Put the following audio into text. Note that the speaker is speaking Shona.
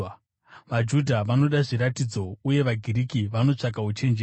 VaJudha vanoda zviratidzo uye vaGiriki vanotsvaka uchenjeri,